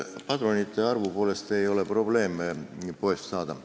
Padrunite poest saamisel ei ole arvu mõttes probleeme.